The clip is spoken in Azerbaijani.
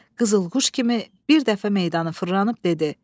Qızılquş kimi bir dəfə meydanı fırlanıb dedi: